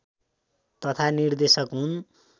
तथा निर्देशक हुन्